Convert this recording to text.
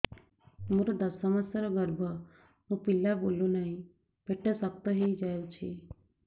ମୋର ଦଶ ମାସର ଗର୍ଭ ମୋ ପିଲା ବୁଲୁ ନାହିଁ ପେଟ ଶକ୍ତ ହେଇଯାଉଛି